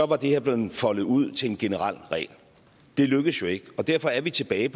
var det her blevet foldet ud til en generel regel det lykkedes jo ikke og derfor er vi tilbage